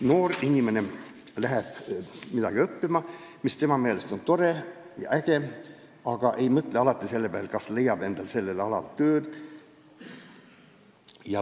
Noor inimene läheb midagi õppima, mis tema meelest on tore ja äge, aga ei mõtle alati sellele, kas ta leiab endale sellel erialal tööd.